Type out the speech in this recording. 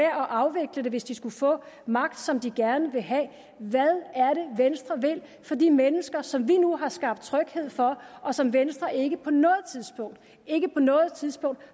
at afvikle det hvis de skulle få magt som de gerne vil have hvad er det venstre vil for de mennesker som vi nu har skabt tryghed for og som venstre ikke på noget tidspunkt ikke på noget tidspunkt